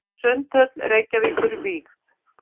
Sundhöll Reykjavíkur vígð.